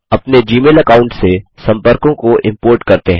अपने Gmail account से सम्पर्कों को इम्पोर्ट करते हैं